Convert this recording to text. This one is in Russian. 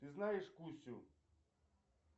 ты знаешь кусю